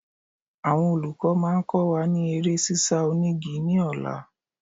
Àwọn olùkọ́ máa kọ́ wa ní eré ṣíṣá onígi ní ọ̀la.